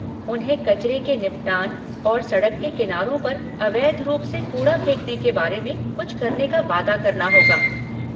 उन्हें कचरे के निपटान और सड़क के किनारों पर अवैध रूप से कूड़ा फेंकने के बारे में कुछ करने का वादा करना होगा।